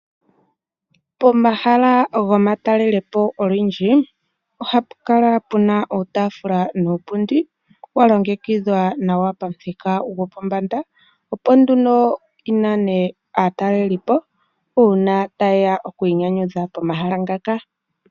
Pomahala gomatalelopo olundji, ohapu kala puna uutaafula nuupundi, wa longekidhwa nawa pamuthika gwopombanda, opo nduno yi nane aatalelipo uuna ta yeya okwiinyanyudha pomahala ngoka.